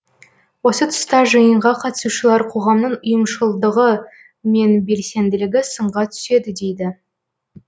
осы тұста жиынға қатысушылар қоғамның ұйымшылыдығы мен белсенділігі сынға түседі дейді